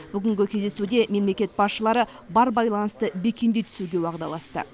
бүгінгі кездесуде мемлекет басшылары бар байланысты бекемдей түсуге уағдаласты